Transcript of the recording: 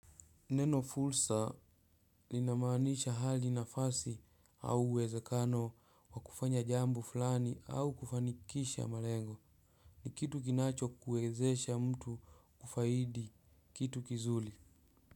Neno fursa lina maanisha hali nafasi au uwezekano wa kufanya jambo fulani au kufanikisha malengo. Ni kitu kinacho kuwezesha mtu kufaidi kitu kizuri.